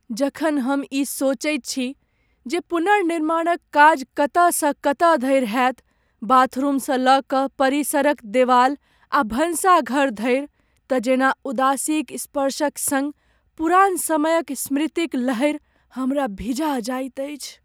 जखन हम ई सोचैत छी जे पुनर्निर्माणक काज कतयसँ कतय धरि होयत, बाथरूमसँ लऽ कऽ परिसरक देवाल आ भनसाघर धरि तँ जेना उदासीक स्पर्शक सङ्ग पुरान समयक स्मृतिक लहरि हमरा भिजा जाइत अछि।